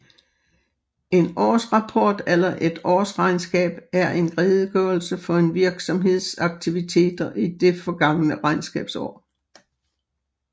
En årsrapport eller et årsregnskab er en redegørelse for en virksomheds aktiviteter i det forgangne regnskabsår